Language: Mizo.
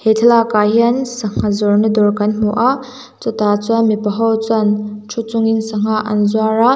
he thlalakah hian sangha zawrhna dawr kan hmu a chutah chuan mipaho chuan thu chungin sangha an zuar a.